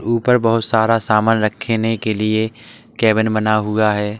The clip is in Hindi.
ऊपर बहोत सारा सामान रखने के लिए केबिन बना हुआ है।